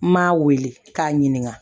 N m'a wele k'a ɲininka